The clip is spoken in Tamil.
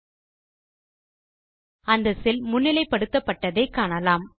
நீங்கள் அந்த செல் முன்னிலைப்படுத்தப்பட்டதை காணலாம்